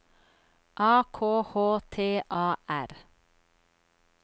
A K H T A R